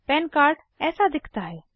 पन कार्ड ऐसा दिखता है